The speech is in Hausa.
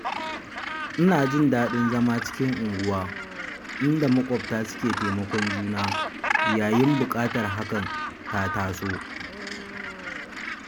Ina jin daɗin zama cikin unguwa inda maƙwabta suke taimakon juna yayin buƙatar hakan ta taso.